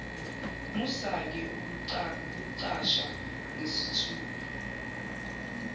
musake ukucasha ngesithupha